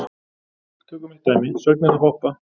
Tökum eitt dæmi, sögnina að hoppa.